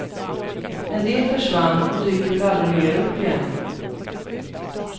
En del försvann och dyker väl aldrig mer upp igen.